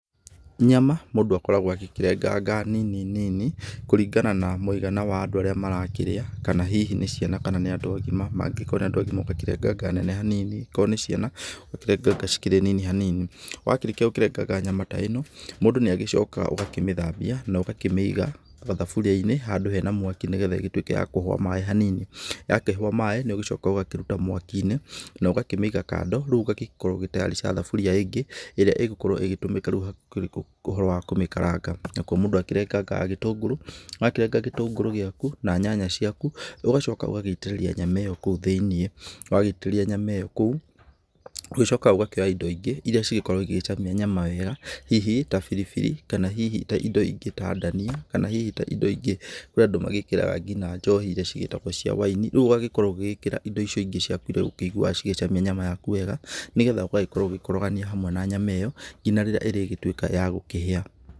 Nyama mũndũ akoragwo agĩkĩrenganga nini nini, kũringana na mũigana wa andũ arĩa marakĩrĩa, kana hihi nĩ ciana kana nĩ andũ agima, mangĩgĩkorwo nĩ andũ agima ũgakĩrenganga nene hanini, akorwo nĩ ciana ũgakirenganga cikĩrĩ nene hanini, wakĩrĩkia gũkĩrenganga nyama ta ĩno, mũndũ nĩ agĩcokaga ũgakĩmĩthambia na ũgakĩmĩiga thaburia-inĩ handũ hena mwaki, nĩgetha ĩgĩtuĩke ya kũhũa maĩ hanini, yakĩhũa maĩ nĩ ũgĩcokaga ũgakiruta mwaki-inĩ na ũgakĩmĩiga kando, rĩu ũgagĩkorwo ũgĩ tayarisha thaburia ĩngĩ, ĩrĩa ĩgũkorwo ĩgĩtũmĩka rĩu hakĩrĩ ũhoro wa gũkĩmĩkaranga. Nakuo mũndũ akĩrengangaga gĩtũngũrũ, wakĩrenga gĩtũngũrũ gĩaku, na nyanya ciaku, ũgacoka ũgagĩitĩrĩria nyanya ĩyo kũu thĩiniĩ, wagĩitĩrĩria nyama ĩyo kũu, ũgacoka ũgakĩoya indo ingĩ iria cikoragwo igĩcamia nyama wega, hihi ta biribiri kana hihi ta indo ingĩ ta ndania, kana hihi ta indo ingĩ. Kũrĩ andũ magĩkĩraga nginya njohi iria cigĩtagwo cia wine rĩu ũgagĩkorwo ũgĩkĩra indo icio ingĩ ciaku iria ũiguaga cigĩcamia nyama yaku wega, nĩgetha ũgagĩkorwo ũgĩkorogania hamwe na nyama ĩyo nginya rĩrĩa ĩrĩgĩtuĩka ya gũkĩhĩa.